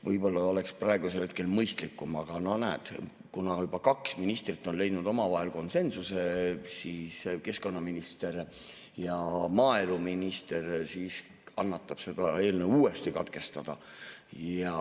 Võib-olla oleks praegu mõistlikum, aga näed, kuna juba kaks ministrit on leidnud omavahel konsensuse, keskkonnaminister ja maaeluminister, siis kannatab uuesti katkestada.